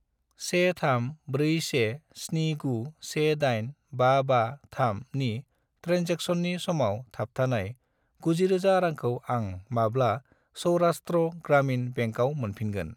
13417918553 नि ट्रेन्जेकसननि समाव थाबथानाय 90000 रांखौ आं माब्ला सौरास्ट्र ग्रामिन बेंकआव मोनफिनगोन?